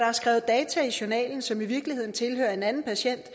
er skrevet data i journalen som i virkeligheden tilhører en anden patient